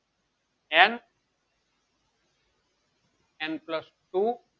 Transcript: n n plus two